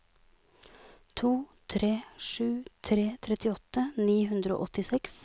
to tre sju tre trettiåtte ni hundre og åttiseks